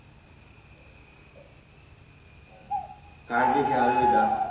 काळजी घ्या अलविदा.